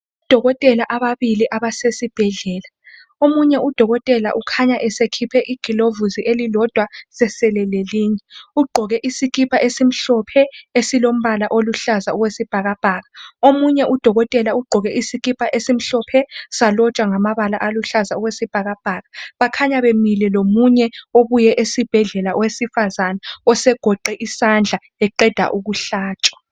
Odokotela ababili abasesibhedlela omunye udokotela ukhanya esekhiphe igilovusi elilodwa sesele lelinye . Ugqoke isikipa esimhlophe esilombala oluhlaza okwesibhakabhaka .Omunye udokotela ugqoke isikipa esimhlophe salotshwa ngamabala aluhlaza okwesibhakabhaka. Bakhanya bemile lomunye obuye esibhedlela owesifazana osegoqe isandla eqeda ukuhlatshwa.